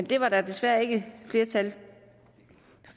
det var der desværre ikke flertal